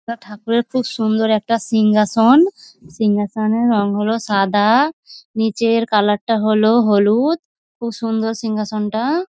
ঠাকুরের খুব সুন্দর একটা সিঙ্ঘাসন। সিঙ্ঘহাসনের রং হল সাদা। নীচের কালার টা হল হলুদ। খুব সুন্দর সিঙ্ঘহাসন টা।